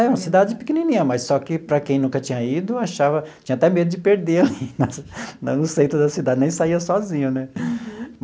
É uma cidade pequenininha, mas só que para quem nunca tinha ido, achava, tinha até medo de perder ali, na no centro da cidade, nem saía sozinho, né? Uhum.